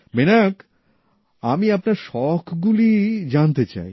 বিনায়ক আমি আপনার শখগুলি জানতে চাই